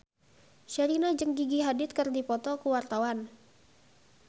Sherina jeung Gigi Hadid keur dipoto ku wartawan